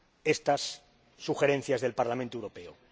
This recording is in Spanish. estas sugerencias del Parlamento Europeo.